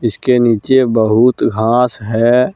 इसके नीचे बहुत घास है।